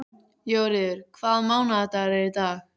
Jóríður, hvaða mánaðardagur er í dag?